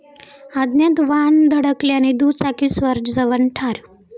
अज्ञात वाहन धडकल्याने दुचाकीस्वार जवान ठार